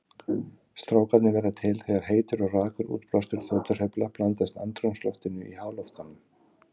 Strókarnir verða til þegar heitur og rakur útblástur þotuhreyfla blandast andrúmsloftinu í háloftunum.